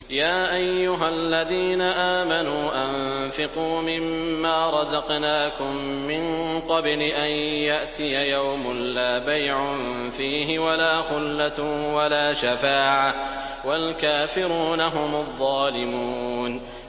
يَا أَيُّهَا الَّذِينَ آمَنُوا أَنفِقُوا مِمَّا رَزَقْنَاكُم مِّن قَبْلِ أَن يَأْتِيَ يَوْمٌ لَّا بَيْعٌ فِيهِ وَلَا خُلَّةٌ وَلَا شَفَاعَةٌ ۗ وَالْكَافِرُونَ هُمُ الظَّالِمُونَ